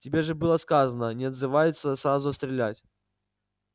тебе же было сказано не отзываются сразу стрелять